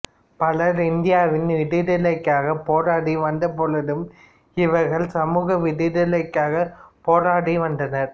பலர் இந்தியாவின் விடுதலைக்காகப் போராடி வந்தபொழுதிலும் இவர்கள் சமூக விடுதலைக்காகப் போராடி வந்தனர்